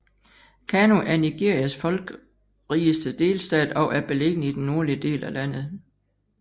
Kano er Nigerias folkrigeste delstat og er beliggende i den nordlige del af landet